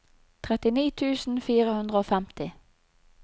trettini tusen fire hundre og femti